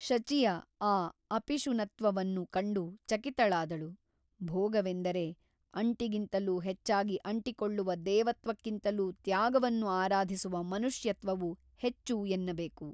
ಶಚಿಯ ಆ ಅಪಿಶುನತ್ವವನ್ನು ಕಂಡು ಚಕಿತಳಾದಳು ಭೋಗವೆಂದರೆ ಅಂಟಿಗಿಂತಲೂ ಹೆಚ್ಚಾಗಿ ಅಂಟಿಕೊಳ್ಳುವ ದೇವತ್ವಕ್ಕಿಂತಲೂ ತ್ಯಾಗವನ್ನು ಆರಾಧಿಸುವ ಮನುಷ್ಯತ್ವವು ಹೆಚ್ಚು ಎನ್ನಬೇಕು.